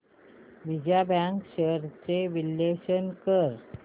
Vijaya Bank shares चे विश्लेषण कर